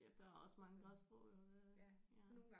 Ja der er også mange græsstrå jo det ja